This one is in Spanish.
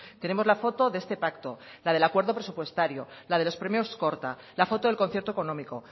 tenemos la foto de este pacto la del acuerdo presupuestario la de los premios korta la foto del concierto económico